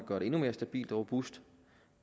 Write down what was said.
gøre det endnu mere stabilt og robust